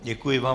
Děkuji vám.